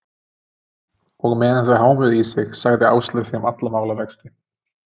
Og meðan þau hámuðu í sig, sagði Áslaug þeim alla málavexti.